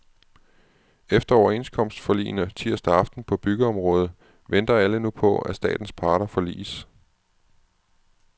Efter overenskomstforligene tirsdag aften på byggeområdet venter alle nu på, at statens parter forliges.